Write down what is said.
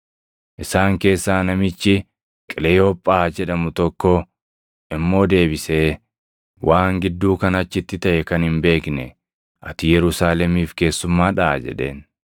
Isaan keessaa namichi Qileyoophaa jedhamu tokko immoo deebisee, “Waan gidduu kana achitti taʼe kan hin beekne ati Yerusaalemiif keessummaadhaa?” jedheen.